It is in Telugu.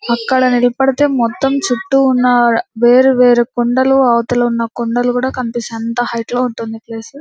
అక్కడ నిల్పడితే మొత్తం చుట్టూ ఉన్న వేరే వేరే కొండలు అవతలున్న కొండలు కూడ కనిపిస్తాయి అంత హెయిట్ లో ఉంటుంది ఆ ప్లేస్ --